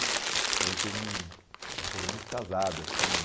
A gente fez um uma coisa muito casada, assim.